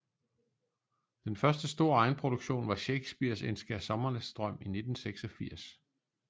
Den første store egenproduktion var shakespeares en skærsommernatsdrøm i 1986